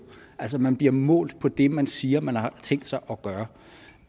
at man bliver målt på det man siger at man har tænkt sig at gøre